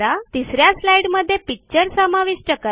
तिस या स्लाईडमध्ये पिक्चर समाविष्ट करा